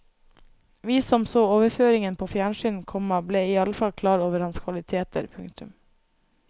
Vi som så overføringen på fjernsyn, komma ble iallfall klar over hans kvaliteter. punktum